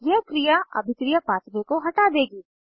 यह क्रिया अभिक्रिया पाथवे को हटा देगी